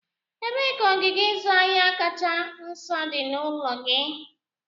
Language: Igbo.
Ebee ka ogige ịzụ ahịa kacha nso dị n'ụlọ gị?